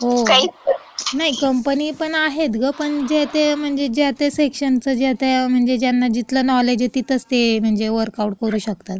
हो. नाही, कंपनी पण आहेत गं, पण जे ते, म्हणजे ज्या त्या सेक्शनचं म्हणजे जे आता, ज्यांना जिथलं नॉलेज आहे, तिथेच ते म्हणजे वर्कआऊट करू शकतात.